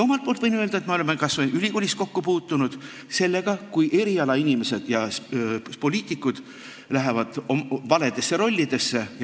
Omalt poolt võin öelda, et me oleme kas või ülikoolis kokku puutunud sellega, kui erialainimesed ja poliitikud on astunud valedesse rollidesse.